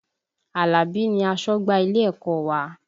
Alabi ni asọ́gbà ilé ẹ̀kọ́ wa